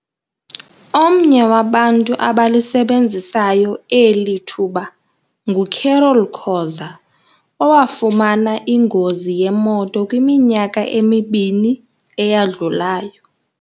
Omnye wabantu abalisebenzisayo eli thuba nguCarol Khoza, owafumana ingozi yemoto kwiminyaka emibini eyadlulayo.